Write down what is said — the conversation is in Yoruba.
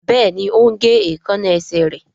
Béèni o ń gé Èékánná esè rẹ.